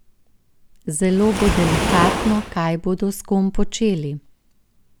Zelo bo delikatno, kaj bodo s kom počeli.